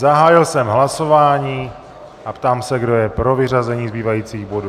Zahájil jsem hlasování a ptám se, kdo je pro vyřazení zbývajících bodů.